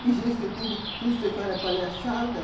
Que gênio que você tem, porque tudo que você fala é palhaçada.